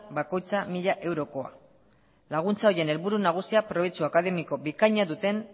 bakoitza mila eurokoa laguntza horien helburu nagusia probetxu akademiko bikaina duten